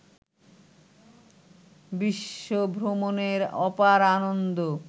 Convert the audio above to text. বিশ্বভ্রমণের অপার আনন্দ